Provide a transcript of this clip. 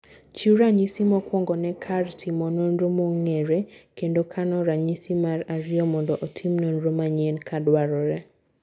Chiw ranyisi mokwongo ne kar timo nonro mong'ere kendo kano ranyisi mar ariyo mondo otim nonro manyien ka dwarore.